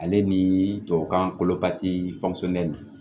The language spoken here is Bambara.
Ale ni tubabukan kolo kati